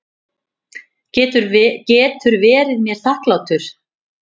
Getur verið mér þakklátur.